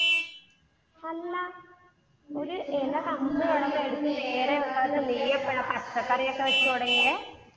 അല്ല, ഒരു ഇല നേരെ വെക്കാത്ത നീ എപ്പഴാ പച്ചക്കറി ഒക്കെ വെച്ച് തുടങ്ങിയേ.